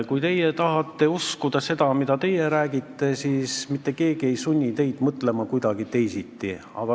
Kui teie tahate uskuda seda, mida teie räägite, siis mitte keegi ei sunni teid kuidagi teisiti mõtlema.